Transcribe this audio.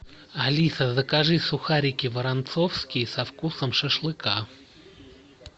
алиса закажи сухарики воронцовские со вкусом шашлыка